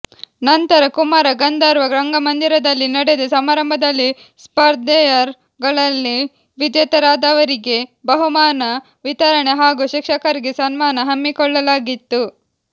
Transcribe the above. ನಂತರ ಕುಮಾರ ಗಂಧರ್ವ ರಂಗಮಂದಿರದಲ್ಲಿ ನಡೆದ ಸಮಾರಂಭದಲ್ಲಿ ಸ್ಪಧರ್ೆಗಳಲ್ಲಿ ವಿಜೇತರಾದವರಿಗೆ ಬಹುಮಾನ ವಿತರಣೆ ಹಾಗೂ ಶಿಕ್ಷಕರಿಗೆ ಸನ್ಮಾನ ಹಮ್ಮಿಕೊಳ್ಳಲಾಗಿತ್ತು